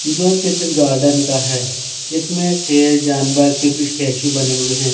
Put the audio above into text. जो चित्र गार्डन का हैं जिसमें से जानवर के पी स्टेचू बने हुए है।